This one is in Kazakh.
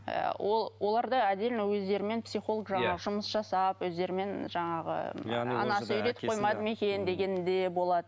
ы ол оларда отдельно өздерімен психолог жаңағы жұмыс жасап өздерімен жаңағы дегендей болады